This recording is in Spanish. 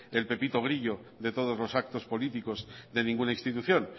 el pepito grillo de todos los actos políticos de ninguna institución